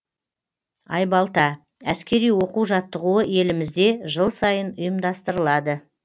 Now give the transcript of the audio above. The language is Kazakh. айбалта әскери оқу жаттығуы елімізде жыл сайын ұйымдастырылады